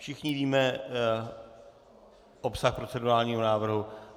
Všichni víme obsah procedurálního návrhu?